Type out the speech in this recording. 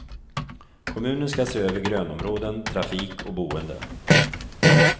Kommunen ska se över grönområden, trafik och boende.